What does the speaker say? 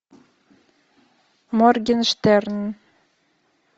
моргенштерн